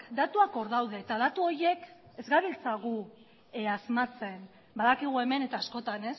datuak hor daude eta datu horiek ez gabiltza gu asmatzen badakigu hemen eta askotan